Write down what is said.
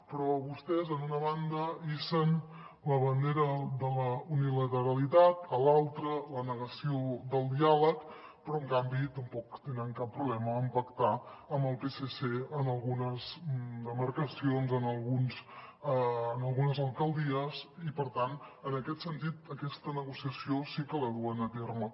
però vostès en una banda hissen la bandera de la unilateralitat a l’altra la negació del diàleg però en canvi tampoc tenen cap problema en pactar amb el psc en algunes demarcacions en algunes alcaldies i per tant en aquest sentit aquesta negociació sí que la duen a terme